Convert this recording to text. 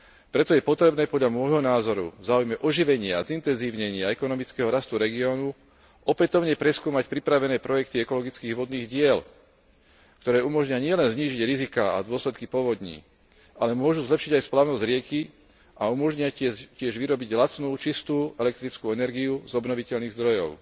Preto je potrebné podľa môjho názoru v záujme oživenia, zintenzívnenia ekonomického rastu regiónu opätovne preskúmať pripravené projekty ekologických vodných diel, ktoré umožnia nielen znížiť riziká a dôsledky povodní, ale môžu zlepšiť aj splavnosť rieky a umožnia tiež vyrobiť lacnú, čistú elektrickú energiu z obnoviteľných zdrojov.